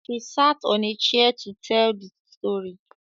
She sat on a chair to teel the story